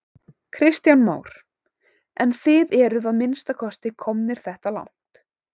Kristján Már: En þið eruð að minnsta kosti komnir þetta langt?